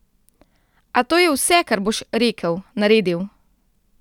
A to je vse, kar boš rekel, naredil?